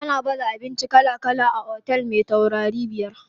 Ana baza abinci kala kala a otel me taurarai biyar.